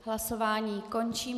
Hlasování končím.